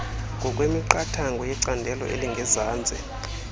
ngokwemiqathango yecandelo elingezantsi